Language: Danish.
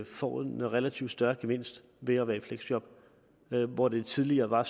får en relativt større gevinst ved at være i fleksjob hvor det tidligere var